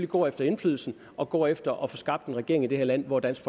går efter indflydelsen og går efter at få skabt en regering i det her land hvor dansk